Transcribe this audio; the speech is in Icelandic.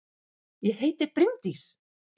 Ég heiti Bryndís!